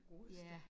Ja